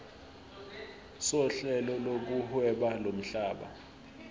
sohlelo lokuhweba lomhlaba